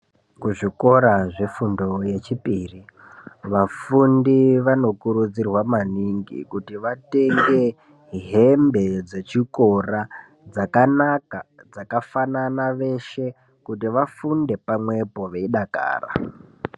Kuzvikora zvefundo yechipiri vafundi vanokurudzirwa maningi kuti vatenge hembe dzechikora dzakanaka dzakafanana veshe kuti vafunde pamwepo veidakara.